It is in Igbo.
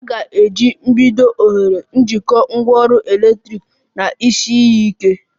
A ga-eji oghere mgbidi jikọọ ngwaọrụ eletrik na isi iyi ike